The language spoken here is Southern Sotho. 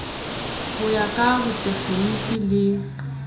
ho ya ka botekgeniki le